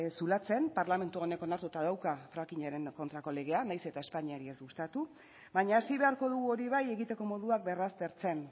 zulatzen parlamentu honek onartuta dauka fracking aren kontrako legea nahiz eta espainiari ez gustatu baina hasi beharko dugu hori bai egiteko moduak berraztertzen